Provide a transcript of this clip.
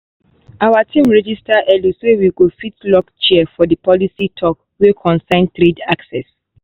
our team register early so we go fit lock chair for that policy talk wey concern trade access.